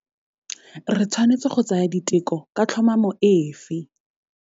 Re tshwanetse go tsaya diteko ka tlhomamo efe?